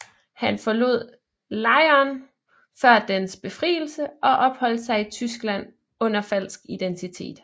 Han forlod lejren før dens befrielse og opholdt sig i Tyskland under falsk identitet